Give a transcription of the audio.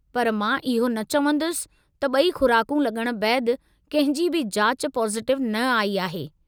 पर मां इहो न चवंदुसि त ॿई खु़राकूं लॻण बैदि कंहिं जी बि जाच पॉजिटिव न आई आहे।